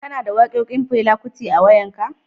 Kana da waƙoƙin Fela Kuti a wayan ka?